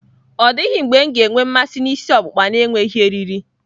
Ọ dịghị mgbe m ga-enwe mmasị na ịsị okupka na-enweghị eriri.